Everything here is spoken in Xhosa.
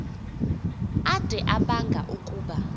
ade abanga ukuba